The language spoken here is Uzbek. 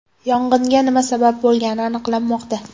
Yong‘inga nima sabab bo‘lgani aniqlanmoqda.